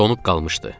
Donub qalmışdı.